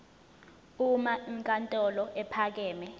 uma inkantolo ephakeme